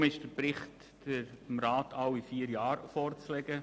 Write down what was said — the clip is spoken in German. Daher ist der Bericht dem Rat alle vier Jahre vorzulegen.